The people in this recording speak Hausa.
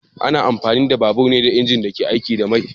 Ana amfani da babur ne da injin da ke aiki da mai